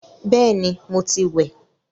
Bẹẹni, mo ti wẹ̀